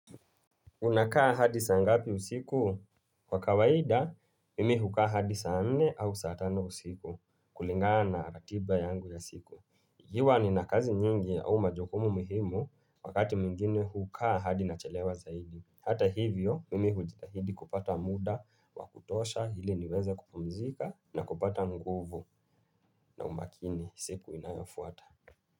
Unakaa hadi saa ngapi usiku? Kwa kawaida, mimi hukaa hadi saa nne au saa tano usiku kulingana na ratiba yangu ya siku. Huwa nina kazi nyingi au majukumu muhimu wakati mwingine hukaa hadi nachelewa zaidi. Hata hivyo, mimi hujitahidi kupata muda wa kutosha ili niweze kupumzika na kupata nguvu na umakini siku inayofuata.